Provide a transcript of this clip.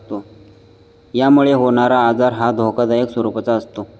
यामुळे होणारा आजार हा धोकादायक स्वरूपाचा असतो.